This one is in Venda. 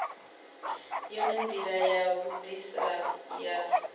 yone ndila ya vhudisa ya